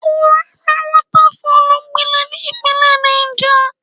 Gurara Waterfalls gbilẹ̀ sí ìpínlẹ̀ Náìjà.